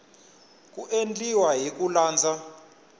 ku endliwa hi ku landza